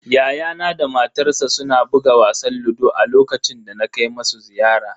Yayana da matarsa suna buga wasan ludo a lokacin da na kai musu ziyara.